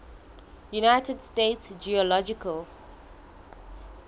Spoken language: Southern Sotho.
united states geological